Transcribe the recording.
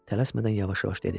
Tələsmədən yavaş-yavaş dedi.